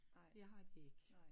Det har de ikke